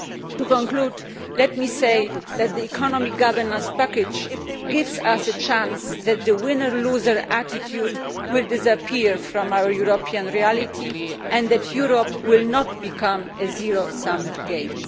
To conclude, let me say that the economic governance package gives us a chance that the winner loser attitude will disappear from our European reality and that Europe will not become a zero sum game.